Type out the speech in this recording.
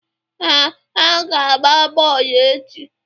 Ee, ha ga-agba bọọlụ echi.